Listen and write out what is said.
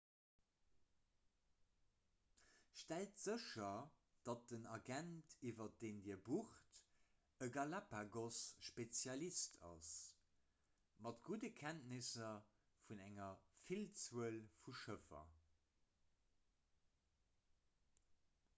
stellt sécher datt den agent iwwer deen dir bucht e galapagos-spezialist ass mat gudde kenntnisser vun enger villzuel vu schëffer